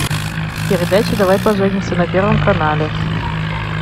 передача давай поженимся на первом канале